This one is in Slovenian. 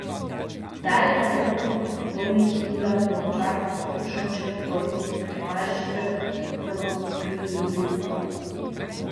Zidar je tako kot obsojeni Hilda Tovšak in Dušan Črnigoj ter Tomaž Žibert, ki so ga podkupili, vložil pritožbo.